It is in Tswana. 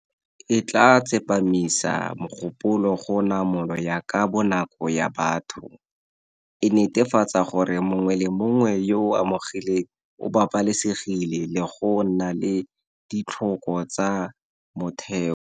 E tla tsepamisa mogopolo go namolo ya ka bonako ya batho, e netefatsa gore mongwe le mongwe yo o amegileng o babalesegile le go nna le ditlhoko tsa motheo.